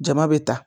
Jama bɛ ta